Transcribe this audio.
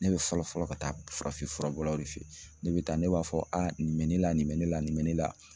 Ne bɛ fɔlɔ fɔlɔ ka taa farafin furabɔlaw de fe yen , ne bɛ taa ne b'a fɔ nin bɛ ne la, nin bɛ ne la, nin bɛ ne la